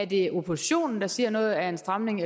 det er oppositionen der siger at noget er en stramning